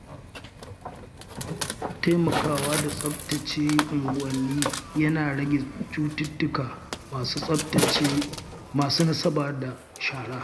Taimakawa da tsaftace unguwanni yana rage cututtuka masu nasaba da shara.